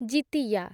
Jitiya